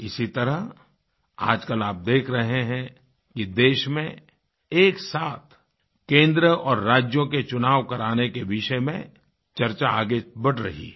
इसी तरह आजकल आप देख रहे हैं कि देश में एक साथ केंद्र और राज्यों के चुनाव कराने के विषय में चर्चा आगे बढ़ रही है